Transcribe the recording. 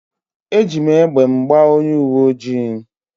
Eji m egbe m gbaa onye uwe ojii